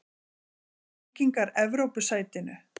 Halda Víkingar Evrópusætinu?